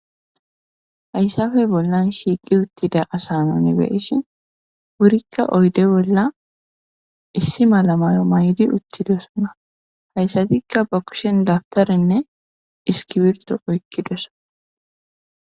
hayssafe bollan shiiqi uttida asa nuni beyishin wurikka oyde bolla issi mala mayo mayidi uttidosona hayssatikka ba kushen dabtarinne iskibirto oykkidosona.